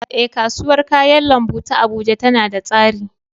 Eh, kasuwar kayan lambu ta Abuja tana da tsari